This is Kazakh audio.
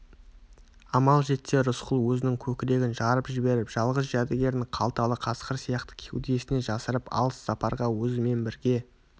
амал жетсе рысқұл өзінің көкірегін жарып жіберіп жалғыз жәдігерін қалталы қасқыр сияқты кеудесіне жасырып алыс сапарға өзімен бірге